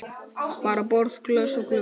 Bara borð, glös og glugga.